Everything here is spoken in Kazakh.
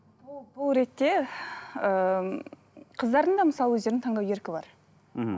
бұл ретте ыыы қыздардың да мысалы өздерінің таңдау еркі бар мхм